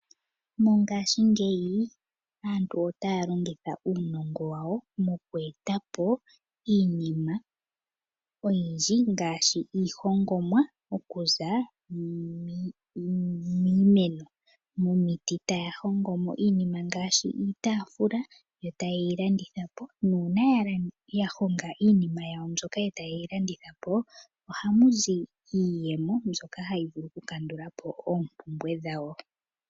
Mongashingeyi aantu otaya longitha uunongo wawo okueta po iinima oyindji ngaashi iihongomwa okuza miimeno nomiiti etaya hongomo iinima ngaashi iitafula yo tayeyi landitha po na una yahonga iinima yawo mbyoka eta yeyi landitha po ohamuzi iiyemo mbyoka hayi vulu okukandula po oompumbwe dhawo.